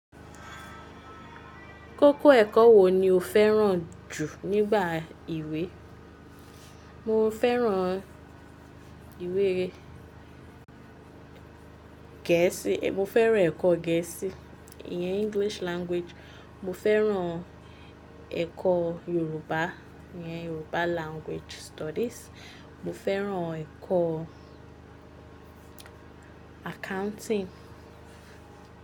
Kókó ẹ̀kọ́ wo ni o fẹ́ràn jù nígbà ìwé? Mo fẹ́ràn ìwé Gẹ̀ẹ́sì, mo fẹ́ràn ẹ̀kọ́ Gẹ̀ẹ́sì, ìyẹn English Language. Mo fẹ́ràn ẹ̀kọ́ Yorùbá, ìyẹn Yoruba Language Studies. Mo fẹ́ràn ẹ̀kọ́ Accounting.